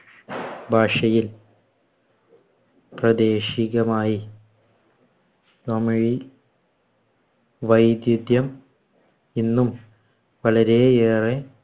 ഭാഷയിൽ പ്രദേശികമായി തമിഴിൽ വൈദിധ്യം ഇന്നും വളരെയേറെ